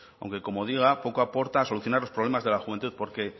aunque como digo poco aporta solucionar los problemas de la juventud porque